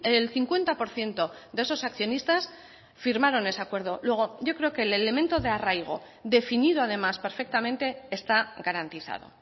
el cincuenta por ciento de esos accionistas firmaron ese acuerdo luego yo creo que el elemento de arraigo definido además perfectamente está garantizado